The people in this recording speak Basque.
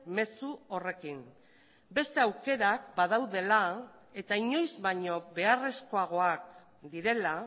mezu horrekin beste aukerak badaudela eta inoiz baino beharrezkoagoak direla